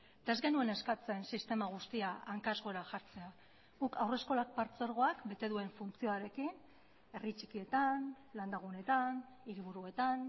eta ez genuen eskatzen sistema guztia hankaz gora jartzea guk haurreskolak partzuergoak bete duen funtzioarekin herri txikietan landagunetan hiriburuetan